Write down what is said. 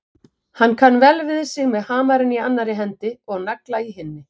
Hann kann vel við sig með hamarinn í annarri hendi og nagla í hinni.